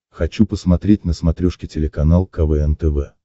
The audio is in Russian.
хочу посмотреть на смотрешке телеканал квн тв